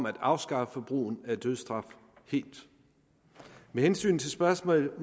at afskaffe brugen af dødsstraf med hensyn til spørgsmålet